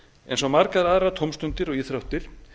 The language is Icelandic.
eins og margar aðrar tómstundir og íþróttir